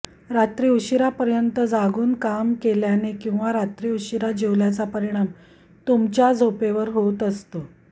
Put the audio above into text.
रात्री उशीरापर्यंत जागून काम केल्याने किंवा रात्री उशीरा जेवल्याचा परिणाम तुमच्या झोपेवर होत असतो